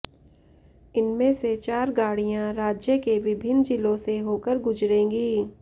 इनमें से चार गाड़ियां राज्य के विभिन्न जिलों से होकर गुजरेंगी